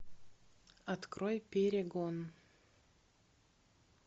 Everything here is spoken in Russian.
открой перегон